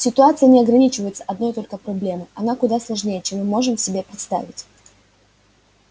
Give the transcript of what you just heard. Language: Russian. ситуация не ограничивается одной только проблемой она куда сложнее чем мы можем себе представить